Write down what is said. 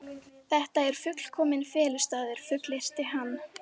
Þetta er fullkominn felustaður, fullyrti hann.